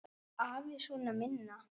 Var afi sona minna.